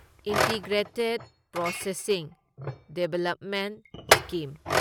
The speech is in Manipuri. integrated processing development scheme